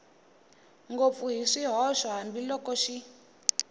ngopfu hi swihoxo hambiloko xi